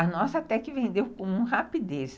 A nossa até que vendeu com rapidez.